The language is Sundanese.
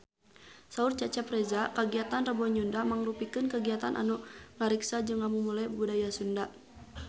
Saur Cecep Reza kagiatan Rebo Nyunda mangrupikeun kagiatan anu ngariksa jeung ngamumule budaya Sunda